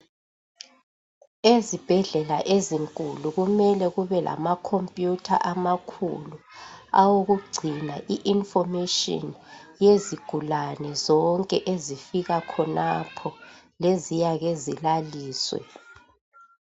Ezibhedlela ezinkulu kumele kube lamakhophiyutha owokugcina I 'information' yezigulane zonke ezifika khonapho leziyake zilaliswe.